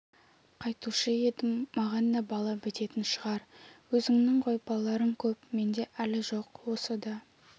қайтушы едім маған да бала бітетін шығар өзіңнің ғой балаларың көп менде әлі жоқ осы да